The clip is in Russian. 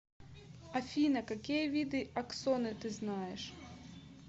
афина какие виды аксоны ты знаешь